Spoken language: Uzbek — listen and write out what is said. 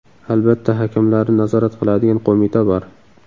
Albatta, hakamlarni nazorat qiladigan qo‘mita bor.